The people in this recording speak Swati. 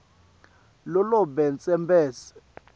lo labe tsembele